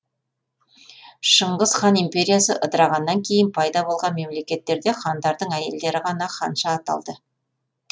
шыңғыс хан империясы ыдырағаннан кейін пайда болған мемлекеттерде хандардың әйелдері ғана ханша аталды